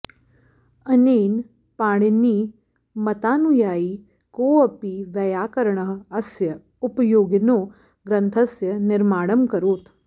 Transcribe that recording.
अनेन पाणिनिमतानुयायी कोऽपि वैयाकरणः अस्य उपयोगिनो ग्रन्थस्य निर्माणमकरोत्